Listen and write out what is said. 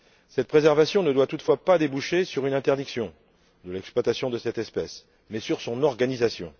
Cette préservation ne doit toutefois pas déboucher sur une interdiction de l'exploitation de cette espèce mais sur son organisation.